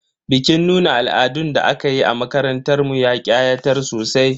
Bikin nuna al'adun da aka yi a makarantar mu ya ƙayatar sosai.